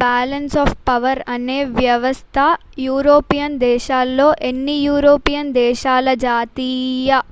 balance of power అనే వ్యవస్థ European దేశాల్లో అన్ని యూరోపియన్ దేశాల జాతీయ